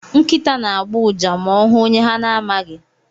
Nkịta na-agbọ ụja ma ọ hụ onye ha na-amaghị.